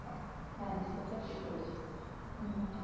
হ্যাঁ সেটা ঠিক বলেছো হম